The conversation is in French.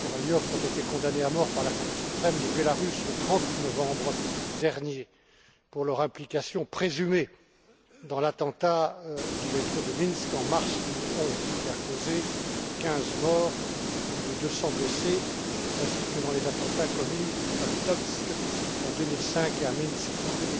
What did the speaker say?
Kavalyou ont été condamnés à mort par la Cour suprême de Biélorussie le 30 novembre dernier, pour leur implication présumée dans l'attentat du métro de Minsk en mars 2011, qui a causé 15 morts et plus de 200 blessés, ainsi que dans les attentats commis à Vitebsk en 2005 et à Minsk en